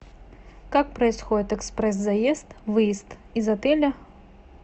как происходит экспресс заезд выезд из отеля